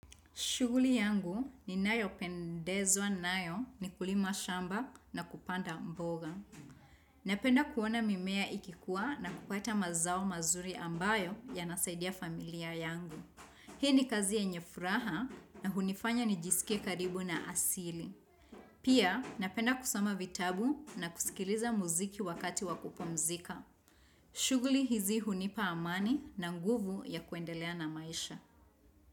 Shughuli yangu ninayo pendezwa nayo ni kulima shamba na kupanda mboga. Napenda kuona mimea ikikuwa na kupata mazao mazuri ambayo yanasaidia familia yangu. Hii ni kazi yenye furaha na hunifanya nijisikie karibu na asili. Pia napenda kusoma vitabu na kusikiliza muziki wakati wa kupumzika. Shuguli hizi hunipa amani na nguvu ya kuendelea na maisha.